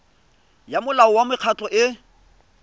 ya molao wa mekgatlho e